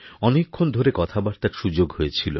অনেকক্ষণ ধরে কথাবার্তার সুযোগহয়েছিল